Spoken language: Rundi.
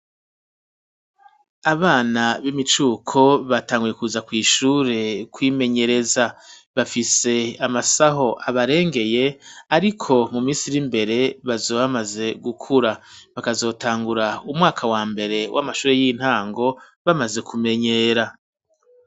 Abana b'imicuko batanguye kuza kw'ishure kwimenyereza bafise amasaho abarengeye ariko mu misi iri imbere bazoba bamaze gukura bakazotangura umwaka wa mbere w'amashure y'intango bamaze kumenyera.